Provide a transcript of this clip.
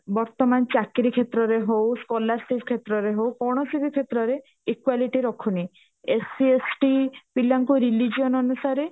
ବର୍ତମାନ ଚାକିରୀ କ୍ଷେତ୍ରରେ ହଉ scholarships କ୍ଷେତ୍ରରେ ହଉ କୌଣସି ବି କ୍ଷେତ୍ରରେ equality ରଖୁନି SC ST ପିଲାଙ୍କୁ religion ଅନୁସାରେ